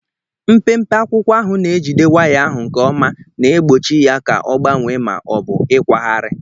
Mpempe akwụkwọ ahụ na-ejide waya ahụ nke ọma, na-egbochi ya ka ọ gbanwee ma ọ bụ ịkwagharị.